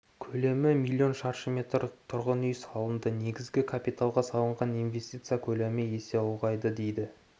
көлемі миллион шаршы метр тұрғын үй салынды негізгі капиталға салынған инвестиция көлемі есе ұлғайды деді